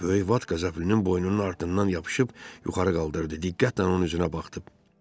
Böyük Vat Qəzəblinin boynunun ardınan yapışıb yuxarı qaldırdı, diqqətlə onun üzünə baxdı.